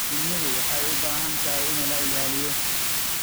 Shinnidu waxay u baahan tahay in la ilaaliyo.